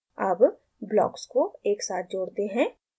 अब ब्लॉक्स को एकसाथ जोड़ते हैं